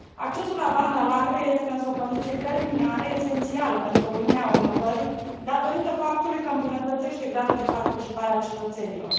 Accesul la banda largă este, însă, o condiție preliminară, esențială pentru O Uniune a inovării, datorită faptului că îmbunătățește gradul de participare a cetățenilor.